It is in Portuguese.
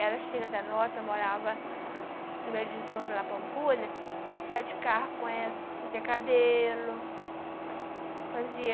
Ela cheia da nota, morava em Belo Horizonte, lá Pampulha, passeava de carro com ela, fazia cabelo, fa fazia